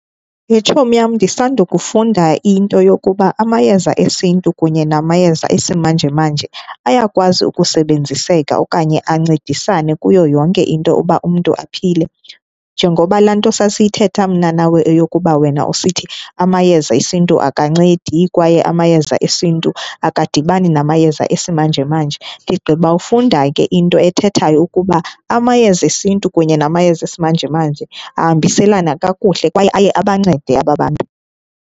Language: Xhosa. Yhe tshomi yam ndisandokufunda into yokuba amayeza esintu kunye namayeza esimanjemanje ayakwazi ukusebenziseka okanye ancedisane kuyo yonke into uba umntu aphile. Njengoba laa nto sasiyithetha mna nawe eyokuba wena usithi amayeza esiNtu akancedi kwaye amayeza esiNtu akadibani namayeza esimanjemanje, ndigqibawufunda ke into ethethayo ukuba amayeza esintu kunye namayeza esimanjemanje ahambiselana kakuhle kwaye aye abancede ababantu.